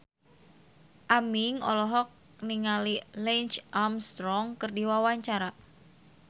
Aming olohok ningali Lance Armstrong keur diwawancara